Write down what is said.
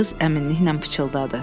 Qız əminliklə çıldadı.